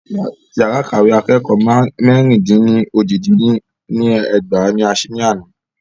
Yàrá ìkàwé akẹ́kọ̀ọ́ mẹ́ẹ̀rín dín ní ójì dín ní ẹgbàá ní a sí ní àná.